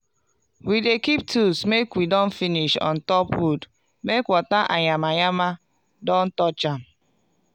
we dey keep tools make we don finish on top wood make water and yama yama don touch am.